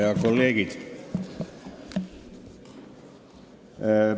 Head kolleegid!